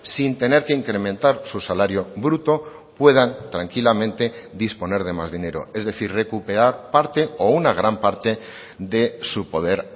sin tener que incrementar su salario bruto puedan tranquilamente disponer de más dinero es decir recuperar parte o una gran parte de su poder